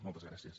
moltes gràcies